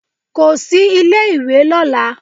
Kò sí ilé ìwé lọ́la.